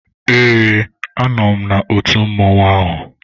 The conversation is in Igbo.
Ee, a nọ m na otu mmọnwụ ahụ.